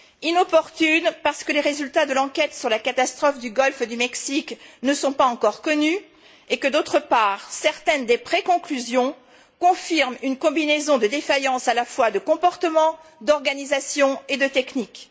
Inopportune, parce que les résultats de l'enquête sur la catastrophe du golfe du Mexique ne sont pas encore connus et que, d'autre part, certaines des préconclusions confirment une combinaison de défaillances à la fois de comportements, d'organisation et de techniques.